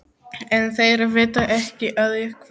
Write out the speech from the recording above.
En þeir vita ekki að ég hverf.